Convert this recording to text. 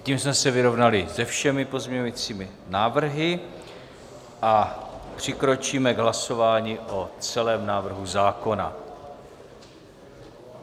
Tím jsme se vyrovnali se všemi pozměňujícími návrhy a přikročíme k hlasování o celém návrhu zákona.